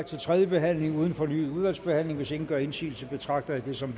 til tredje behandling uden fornyet udvalgsbehandling hvis ingen gør indsigelse betragter jeg det som